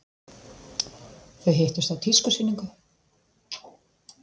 Þau hittust á tískusýningu.